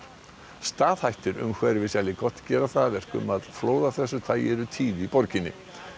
staðhættir umhverfis gera það að verkum að flóð af þessu tagi eru tíð í borginni